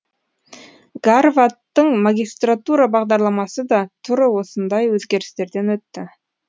гарваттың магистратура бағдарламасы да туры осындай өзгерістерден өтті